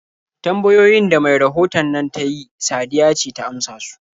Tambayoyin da mai rahoton nan ta yi Sadiya ce ta amsa su.